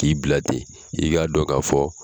K'i bila ten i k'a dɔn ka fɔ